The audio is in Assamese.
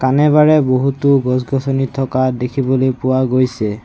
কানে বাৰে বহুতো গছ-গছনি থকা দেখিবলে পোৱা গৈছে।